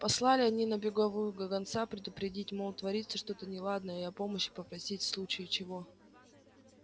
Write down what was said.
послали они на беговую гонца предупредить мол творится что-то неладное и о помощи попросить в случае чего